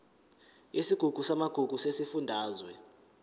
yesigungu samagugu sesifundazwe